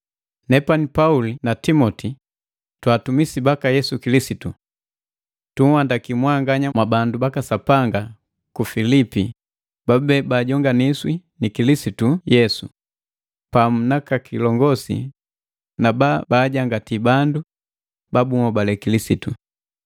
Nepani Pauli na Timoti, twaatumisi baka Yesu Kilisitu. Tunhandakii mwanganya mwabandu baka Sapanga ku Pilipi babube bajonganisi ni Kilisitu Yesu, pamu naka kilongosi na babaajangati bandu ba bunhobale Kilisitu.